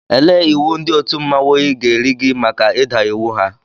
Ele iwu ndị otu mmanwụ gị ga-eri gị maka ịda iwu ha?